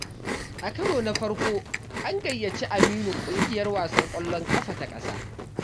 A karo na farko, an gayyaci Aminu ƙungiyar wasan ƙwallon ƙafa ta ƙasa.